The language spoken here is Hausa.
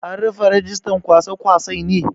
An rufe rijistan kwasa-kwasai ne?